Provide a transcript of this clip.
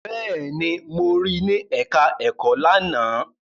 Bẹ́ẹ̀ni, mo rí ní ẹ̀ká ẹ̀kọ́ lánàá